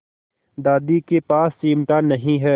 दादी के पास चिमटा नहीं है